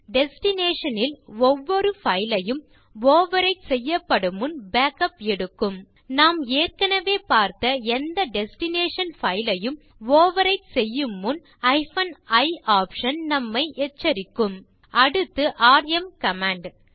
destination ல் ஒவ்வொரு file யும் ஓவர்விரைட் செய்யப்படும் முன் பேக்கப் எடுக்கும் நாம் ஏற்கனவே பார்த்த எந்த டெஸ்டினேஷன் பைல் யும் ஓவர்விரைட் செய்யும் முன் i ஆப்ஷன் நம்மை எச்சரிக்கும் அடுத்தது ராம் கமாண்ட்